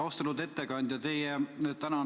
Austatud ettekandja!